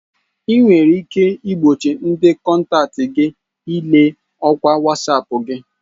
Ị nwere ike igbochi ndị kọntaktị gị ile ọkwa Wasapu gị.